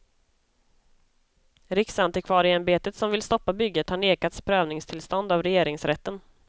Riksantikvarieämbetet som vill stoppa bygget har nekats prövningstillstånd av regeringsrätten.